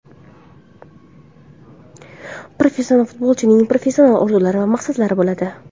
Professional futbolchining professional orzulari va maqsadlari bo‘ladi.